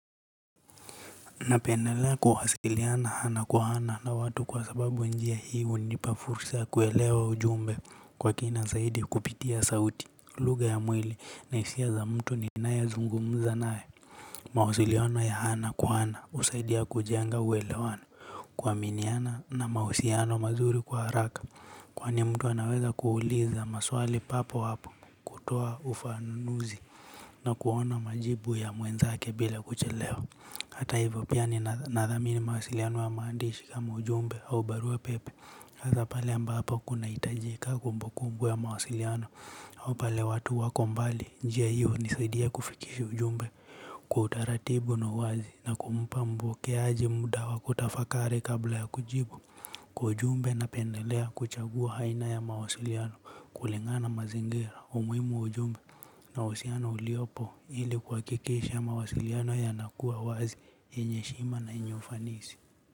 Napendelea kuwasiliana ana kwa ana na watu kwa sababu njia hii hunipa fursa ya kuelewa ujumbe kwa kina zaidi, kupitia sauti. Lugha ya mwili na hisia za mtu ninayezungumza naye. Mawasiliano ya ana kwa ana husaidia kujenga uelewano, kuaminiana na mahusiano mazuri kwa haraka. Kwani mtu anaweza kuuliza maswali papo hapo, kutoa ufanuzi na kuona majibu ya mwenzake bila kuchelewa. Hata hivyo pia ninathanimi mawasiliano ya maandishi kama ujumbe au barua pepe. Hasa pale ambapo kunahitajika kumbu kumbu ya mawasiliano. Au pale watu wako mbali. Njia hiyo hunisidia kufikisha ujumbe. Kwa utaratibu na uazi na kumpa mpokeaji muda wa kutafakari kabla ya kujibu. Kwa ujumbe napendelea kuchagua aina ya mawasiliano kulingana na mazingira. Umuimu wa ujumbe na uhusiano uliopo ili kuhakikisha mawasiliano yanakuwa wazi yenye heshima na yenye ufanisi.